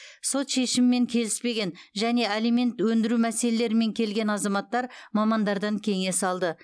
сот шешімімен келіспеген және алимент өндіру мәселелерімен келген азаматтар мамандардан кеңес алды